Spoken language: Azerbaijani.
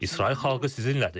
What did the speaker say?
İsrail xalqı sizinlədir.